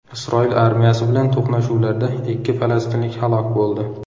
Isroil armiyasi bilan to‘qnashuvlarda ikki falastinlik halok bo‘ldi.